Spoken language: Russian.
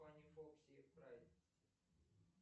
пани фокси прайд